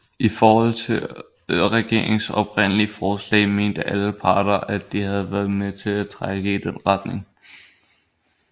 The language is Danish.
I forhold til regeringens oprindelige forslag mente alle parter at de havde været med til at trække i den retning